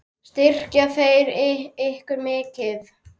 Styrkja þeir ykkur mikið?